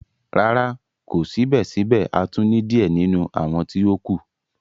Rara, ko sibẹsibẹ a tun ni diẹ ninu awọn ti o kù.